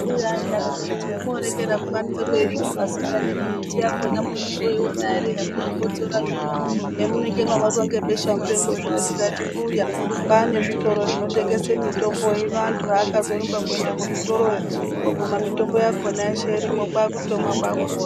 Mbuya aidaroko kuti homorekera kubanze kweisvipa imi asikana hino miti yakona munozooiona ere hamunokotsora zvino zvamunenge mabatwa ngebesha mupengo zvino tikati mbuya kwane zvitoro zvinotengese mitombo ino antu akazorumba kuende kuzvitoroyo koguma mitombo yakona yeshe irimo kwakutomwa kwakupora.